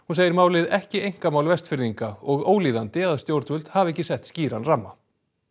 hún segir málið ekki einkamál Vestfirðinga og ólíðandi að stjórnvöld hafi ekki sett skýran ramma